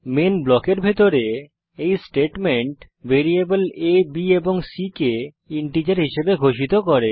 main ব্লকের ভিতরে এই স্টেটমেন্ট ভেরিয়েবল আ b এবং c কে ইন্টিজার হিসাবে ঘোষিত করে